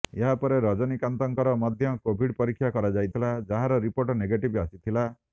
ଏହା ପରେ ରଜନୀକାନ୍ତଙ୍କର ମଧ୍ୟ କୋଭିଡ ପରୀକ୍ଷା କରାଯାଇଥିଲା ଯାହାର ରିପୋର୍ଟ ନେଗେଟିଭ୍ ଆସିଥିଲା